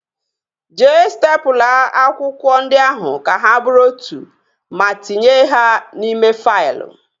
Jee stepụla akwụkwọ ndị ahụ ka ha bụrụ otu ma tinye ha n'ime faịlụ